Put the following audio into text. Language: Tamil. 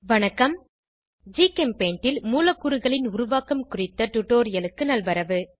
வணக்கம் ஜிகெம்பெய்ண்ட் ல் மூலக்கூறுகளின் உருவாக்கம் குறித்த டுடோரியலுக்கு நல்வரவு